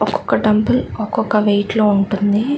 ఒకొక్క డంబుల్ ఒక్కొక్క వెయిట్ లో ఉంటుంది.